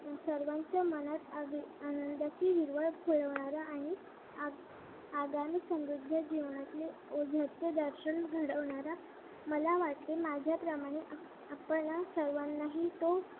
सर्वांच्या मनात अगदी आनंदाची हिरवळ फुलवणारा आणि आगामी समृद्ध जीवनाची दर्शन घडवणारा मला वाटले माझ्याप्रमाणे आपना सर्वांनाही तो